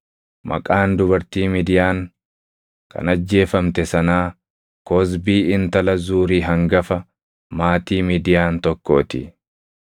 Maqaan dubartii Midiyaan kan ajjeefamte sanaa Kozbii intala Zuuri hangafa maatii Midiyaan tokkoo ti.